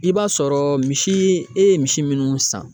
I b'a sɔrɔ misi e ye misi munnu san